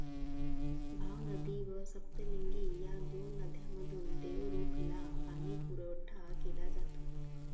भावनदी व सप्तलिंगी या दोन नद्यांमधून देवरुखला पाणीपुरवठा केला जातो.